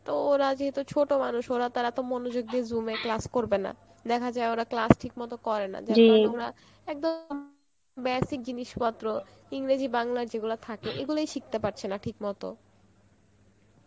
তো ওরা যেহেতু ছোট মানুষ ওরা তারা তো মনোযোগ দিয়ে zoom এ class করবে না, দেখা যায় ওরা ক্লাস ঠিক মতো করে না একদম basic জিনিস পত্র ইংরেজি বাংলা যেগুলো থাকে এইগুলোই শিখতে পারছে না ঠিকমতো